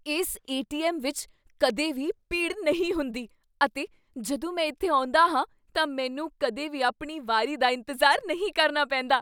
ਇਸ ਏ.ਟੀ.ਐੱਮ. ਵਿੱਚ ਕਦੇ ਵੀ ਭੀੜ ਨਹੀਂ ਹੁੰਦੀ ਅਤੇ ਜਦੋਂ ਮੈਂ ਇੱਥੇ ਆਉਂਦਾ ਹਾਂ ਤਾਂ ਮੈਨੂੰ ਕਦੇ ਵੀ ਆਪਣੀ ਵਾਰੀ ਦਾ ਇੰਤਜ਼ਾਰ ਨਹੀਂ ਕਰਨਾ ਪੈਂਦਾ ।